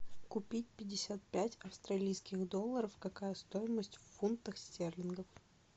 купить пятьдесят пять австралийских долларов какая стоимость в фунтах стерлингов